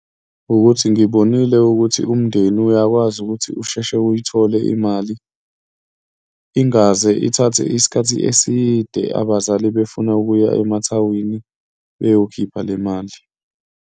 Wukuthi ngibonile ukuthi umndeni uyakwazi ukuthi usheshe uyithole imali, ingaze ithathe isikhathi eside abazali befuna ukuya emathawini beyokhipha le mali.